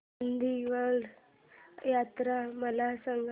कर्दळीवन यात्रा मला सांग